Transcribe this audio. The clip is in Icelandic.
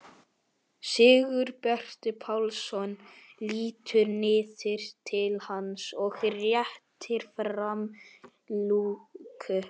Sigurbjartur Pálsson lítur niður til hans og réttir fram lúku.